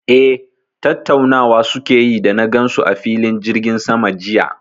Eh, tattaunawa su ke yi da na gan su a filin jirgin sama jiya